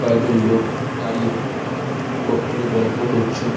কয়েকজন লোক দাঁড়িয়ে গো ফোনে এ গল্প করছে।